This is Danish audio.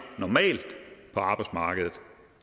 på arbejdsmarkedet